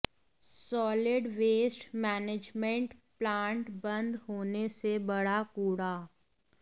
solid waste management plant बंद होने से बढ़ा कूड़ा